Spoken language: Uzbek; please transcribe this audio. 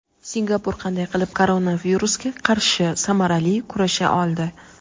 Singapur qanday qilib koronavirusga qarshi samarali kurasha oldi?.